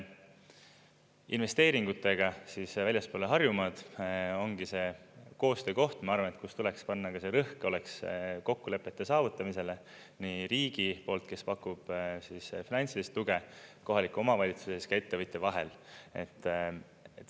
Investeeringutega väljaspool Harjumaad ongi see koostöökoht, ma arvan, kus tuleks panna rõhk, oleks kokkulepete saavutamisele nii riigi poolt, kes pakub finantsilist tuge kohaliku omavalitsuse ja ettevõtja vahel.